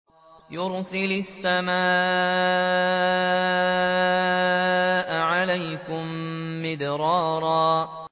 يُرْسِلِ السَّمَاءَ عَلَيْكُم مِّدْرَارًا